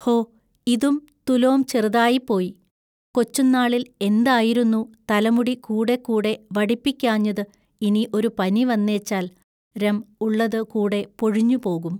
ഹൊ ഇതും തുലൊം ചെറുതായിപ്പോയി. കൊച്ചുന്നാളിൽ എന്തായിരുന്നു തലമുടി കൂടെകൂടെ വടിപ്പിക്കാഞ്ഞതു ഇനി ഒരു പനി വന്നേച്ചാൽ രം ഉള്ളതു കൂടെ പൊഴിഞ്ഞു പോകും.